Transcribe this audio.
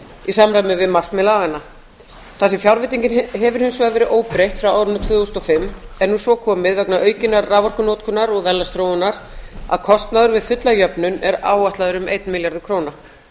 í samræmi við markmið laganna þar sem fjárveitingin hefur hins vegar verið óbreytt frá árinu tvö þúsund og fimm er nú svo komið vegna aukinnar raforkunotkunar og verðlagsþróunar að kostnaður við fulla jöfnun er áætlaður um einn milljarður króna